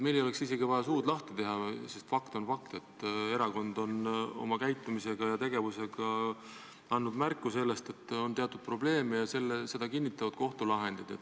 Meil ei oleks isegi vaja suud lahti teha, sest fakt on fakt, erakond on oma käitumisega ja tegevusega andnud märku, et on teatud probleem, ja seda kinnitavad kohtulahendid.